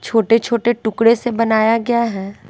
छोटे छोटे टुकड़े से बनाया गया है।